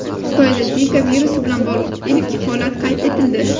Xitoyda Zika virusi bilan bog‘liq ilk holat qayd etildi.